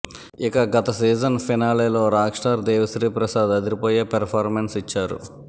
ఇక గత సీజన్ ఫినాలేలో రాక్ స్టార్ దేవి శ్రీ ప్రసాద్ అదిరిపోయే పెర్ఫామెన్స్ ఇచ్చారు